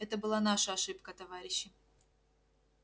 это была наша ошибка товарищи